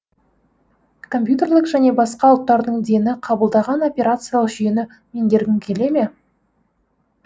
компьютерлік және басқа ұлттардың дені қабылдаған операциялық жүйені меңгергің келе ме